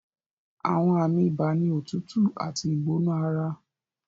Àwọn àmì ibà ni òtútù àti ìgbóná ara